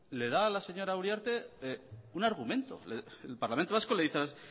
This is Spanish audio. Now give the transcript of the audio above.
le da a la señora uriarte un argumento el parlamento vasco